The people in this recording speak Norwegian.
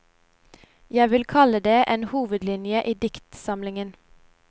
Jeg vil kalle det en hovedlinje i diktsamlingen.